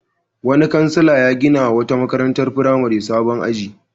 Wani kansila ya ginawa wata makarantar firamare sabon aji.